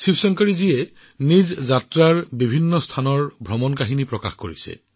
শিৱশংকৰী জীয়ে বিভিন্ন ঠাই ভ্ৰমণ কৰি ট্ৰেভেল গাইডৰ লগতে সেইবোৰ প্ৰকাশ কৰিছে